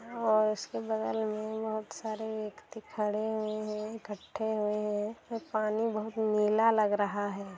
और इसके बगल में बहुत सारे व्यक्ति खड़े हुए हैं इकट्टे हुए हैं पानी बहुत नीला लग रहा है।